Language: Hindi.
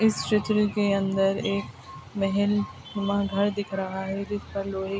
इस चित्र के अंदर एक महल नुमा घर दिख रहा है जिस पर लोहे --